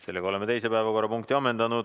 Sellega oleme teise päevakorrapunkti ammendanud.